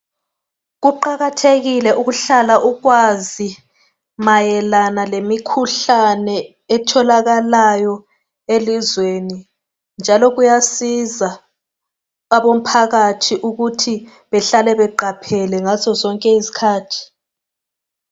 Kuqakathekile ukuhlala ukwazi mayelana lemikhuhlane etholakalayo elizweni, njalo kuyasiza abomphakathi ukuthi behlale beqaphele ngazo zonke izikhathi.